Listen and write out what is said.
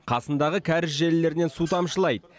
қасындағы кәріз желілерінен су тамшылайды